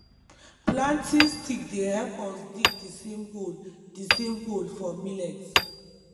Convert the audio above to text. planting stick dey help us dig d same hole d same hole for millet